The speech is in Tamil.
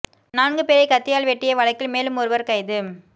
நான்கு பேரை கத்தியால் வெட்டிய வழக்கில் மேலும் ஒருவர் கைது